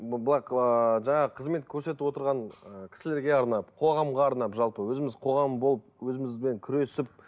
былай ыыы жаңағы қызмет көрсетіп отырған ы кісілерге арнап қоғамға арнап жалпы өзіміз қоғам болып өзімізбен күресіп